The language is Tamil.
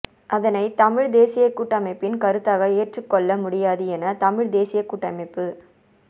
அதனை தமிழ் தேசிய கூட்டமைப்பின் கருத்தாக ஏற்றுக்கொள்ள முடியாது என தமிழ் தேசியக் கூட்டமைப்பு